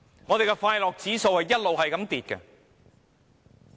我們的快樂指數一直下跌。